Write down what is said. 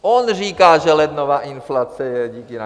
On říká, že lednová inflace je díky nám.